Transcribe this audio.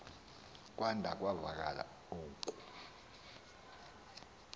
kwada kwavakala uku